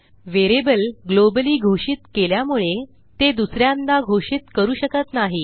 variable globally घोषित केल्यामुळे ते दुस यांदा घोषित करू शकत नाही